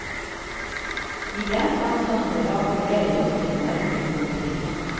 I den fanns underlag för väldigt mycket mörker på en timme.